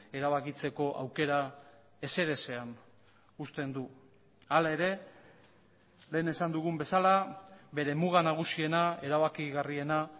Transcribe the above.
erabakitzeko aukera ezerezean uzten du hala ere lehen esan dugun bezala bere muga nagusiena erabakigarriena